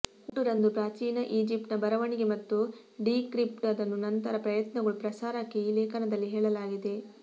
ಹುಟ್ಟು ರಂದು ಪ್ರಾಚೀನ ಈಜಿಪ್ಟಿನ ಬರವಣಿಗೆ ಮತ್ತು ಡೀಕ್ರಿಪ್ಟ್ ಅದನ್ನು ನಂತರ ಪ್ರಯತ್ನಗಳು ಪ್ರಸಾರಕ್ಕೆ ಈ ಲೇಖನದಲ್ಲಿ ಹೇಳಲಾಗಿದೆ